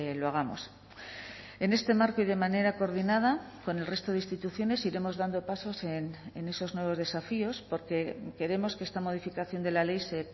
lo hagamos en este marco y de manera coordinada con el resto de instituciones iremos dando pasos en esos nuevos desafíos porque queremos que esta modificación de la ley se